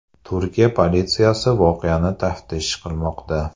Turkiya politsiyasi voqeani taftish qilmoqda.